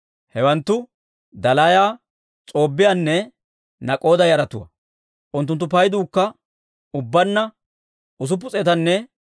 Hewanttu Dalaaya, S'oobbiyaanne Nak'oda yaratuwaa; unttunttu payduukka ubbaanna 642.